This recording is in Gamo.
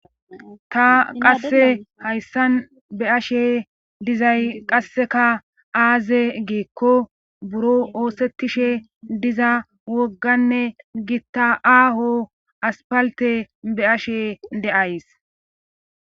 ta qasse hayssan be ashe dizay qasseka aaze geekko buro oosettishe diza wogganne gitta aaho aspalte be ashe de7ays